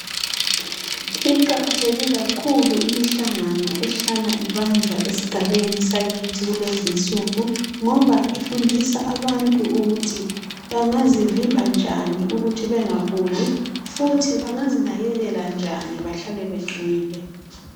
Iqakatheke kakhulu imihlangano ehlala ibanjwa esigabeni sakithi kulezi nsuku ngoba ifundisa abantu bangazivimba njani ukuthi bengaguli futhi bangazinakekela njani bahlale beqinile .